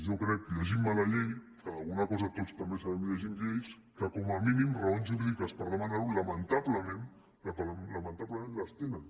jo crec llegint me la llei que per alguna cosa tots també sabem llegir lleis que com a mínim raons jurídiques per demanar ho i lamentablement lamentablement les tenen